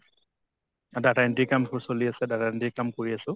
data entry কাম চলি আছে । data entry কাম কৰি আছোঁ ।